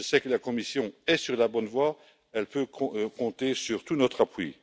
Je sais que la Commission est sur la bonne voie, elle peut compter sur tout notre appui.